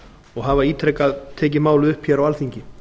og hafa ítrekað tekið málið upp hér á alþingi